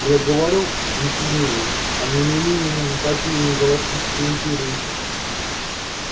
я говорю джентльмены о неминуемом падении галактической империи